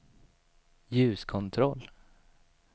ljuskontroll